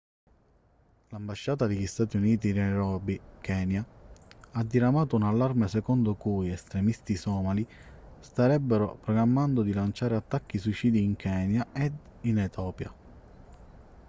l'ambasciata degli stati uniti di nairobi kenya ha diramato un allarme secondo cui estremisti somali starebbero programmando di lanciare attacchi suicidi in kenya e in etiopia